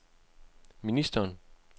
ministeren